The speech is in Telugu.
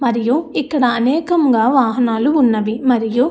మరియు ఇక్కడ అనేకంగా వాహానాలు ఉన్నవి. మరియు --